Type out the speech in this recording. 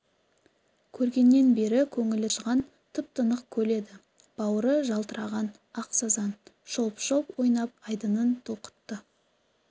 көргеннен бері көңілі тыншыған тып-тынық көл еді бауыры жалтыраған ақ сазан шолп-шолп ойнап айдынын толқытты